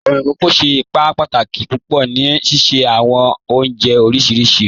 Awọn ikókò ṣẹ́ ìpà pàtàkì púpọ̀ ní síṣẹ̀ awọn ọ̀njẹ̀ oríṣiríṣì